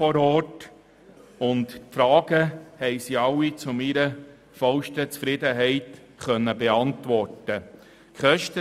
Alle meine Fragen konnten zu meiner vollsten Zufriedenheit beantwortet werden.